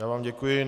Já vám děkuji.